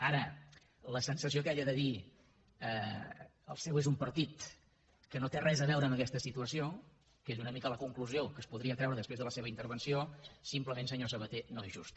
ara la sensació aquella de dir que el seu és un partit que no té res a veure amb aquesta situació que és una mica la conclusió que es podria treure després de la seva intervenció simplement senyor sabaté no és justa